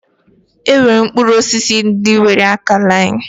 E nwere mkpụrụ osisi ndị nwere akalain.